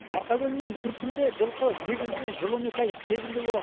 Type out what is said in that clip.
марқакөл мен күршімде жылқы негізінен жыл он екі ай тебінде болады